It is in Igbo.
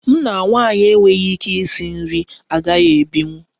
M na nwaanyị na-enweghị ike isi nri agaghị ebinwu